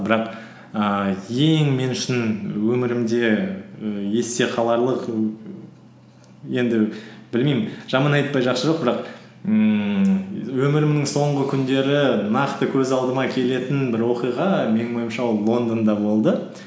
бірақ ііі ең мен үшін өмірімде і есте қаларлық енді білмеймін жаман айтпай жақсы жоқ бірақ ммм өмірімнің соңғы күндері нақты көз алдыма келетін бір оқиға менің ойымша ол лондонда болды